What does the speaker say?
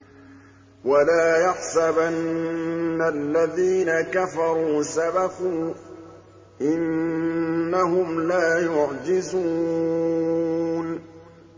وَلَا يَحْسَبَنَّ الَّذِينَ كَفَرُوا سَبَقُوا ۚ إِنَّهُمْ لَا يُعْجِزُونَ